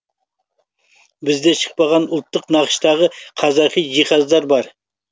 бізде шықпаған ұлттық нақыштағы қазақи жиһаздар бар